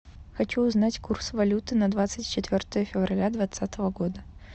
хочу узнать курс валюты на двадцать четвертое февраля двадцатого года